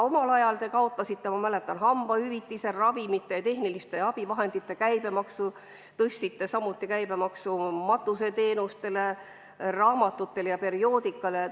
Omal ajal te kaotasite, ma mäletan, hambaravihüvitise, ravimite ja tehniliste abivahendite väiksema käibemaksu, samuti tõstsite matuseteenuste, raamatute ja perioodika käibemaksu.